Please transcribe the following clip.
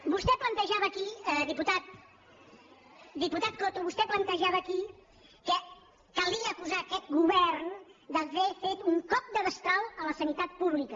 vostè plantejava aquí diputat coto que calia acusar aquest govern d’haver fet un cop de destral a la sanitat pública